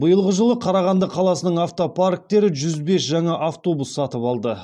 биылғы жылы қарағанды қаласының автопарктері жүз бес жаңа автобус сатып алды